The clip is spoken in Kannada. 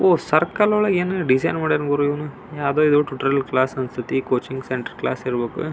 ವೈಟ್ ಬೋರ್ಡ್ ಚಿತ್ರ ಬಿಡಸ್ಯಾ.